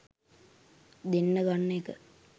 දෙන්න ගන්න එක